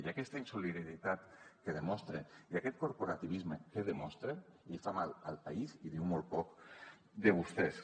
i aquesta insolidaritat que demostren i aquest corporativisme que demostren li fa mal al país i diu molt poc de vostès